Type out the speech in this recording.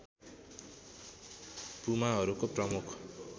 पुमाहरूको प्रमुख